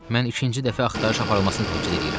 Mən ikinci dəfə axtarış aparılmasını təkid eləyirəm.